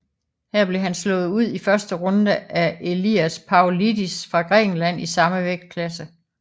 Her blev han slået ud i første runde af Elias Pavlidis fra Grækenland i samme vægtklasse